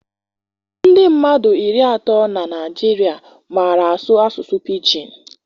Nde mmadụ iri atọ na Naịjirịa màrà asụ asụsụ Pijin.